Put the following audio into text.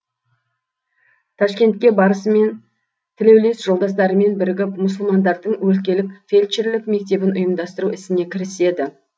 ташкентке барысымен тілеулес жолдастарымен бірігіп мұсылмандардың өлкелік фельдшерлік мектебін ұйымдастыру ісіне кіріседі